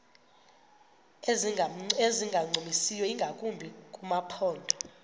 ezingancumisiyo ingakumbi kumaphondo